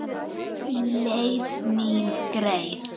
Leið mín greið.